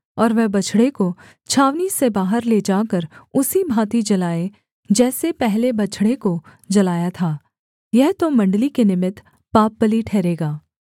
और वह बछड़े को छावनी से बाहर ले जाकर उसी भाँति जलाए जैसे पहले बछड़े को जलाया था यह तो मण्डली के निमित्त पापबलि ठहरेगा